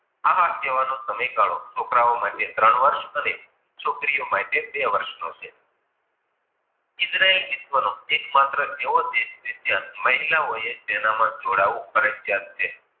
ઉઠવાનો ગાળો, છોકરાઓ માટે ત્રણ વર્ષ અને છોકરીઓ માટે બે નો વર્ષ છે. ઈજરાયલ વિશ્વ નો એક માત્ર એવો દેશ છે ત્યાં મહિલાઓ ત્યાં જોડાવું તેનામાજોડાવું ફરિજયાત છે.